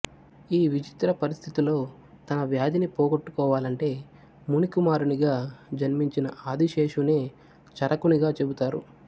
ఈ విచిత్ర పరిస్థితిలో తన వ్యాధిని పోగొట్టుకోవాలంటే ముని కుమారునిగా జన్మించిన ఆదిశేషునే చరకునిగా చెబుతారు